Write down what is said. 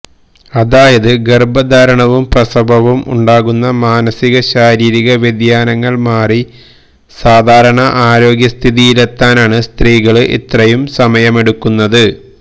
അതായത് ഗര്ഭധാരണവും പ്രസവവും ഉണ്ടാകുന്ന മാനസിക ശാരീരിക വ്യതിയാനങ്ങള് മാറി സാധാരണ ആരോഗ്യസ്ഥിതിയിലെത്തനാണ് സ്ത്രീകള് ഇത്രയും സമയമെടുക്കുന്നത്